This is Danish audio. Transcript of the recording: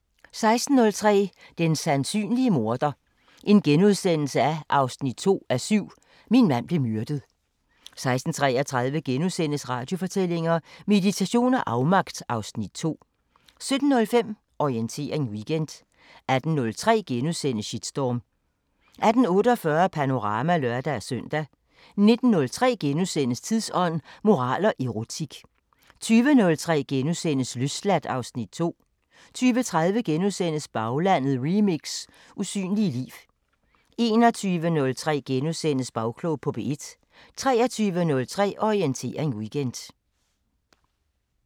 16:03: Den sandsynlige morder 2:7 – Min mand blev myrdet * 16:33: Radiofortællinger: Meditation og afmagt (Afs. 2)* 17:05: Orientering Weekend 18:03: Shitstorm * 18:48: Panorama (lør-søn) 19:03: Tidsånd: Moral og erotik * 20:03: Løsladt (Afs. 2)* 20:30: Baglandet remix: Usynlige liv * 21:03: Bagklog på P1 * 23:03: Orientering Weekend